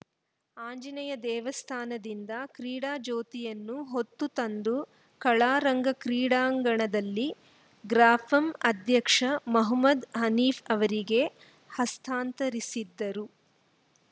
ಆಂಜನೇಯ ದೇವಸ್ಥಾನದಿಂದ ಕ್ರೀಡಾಜ್ಯೋತಿಯನ್ನು ಹೊತ್ತು ತಂದು ಕಲಾರಂಗ ಕ್ರೀಡಾಂಗಣದಲ್ಲಿ ಗ್ರಾಪಂ ಅಧ್ಯಕ್ಷ ಮಹಮ್ಮದ್‌ ಹನೀಫ್‌ ಅವರಿಗೆ ಹಸ್ತಾಂತರಿಸಿದರು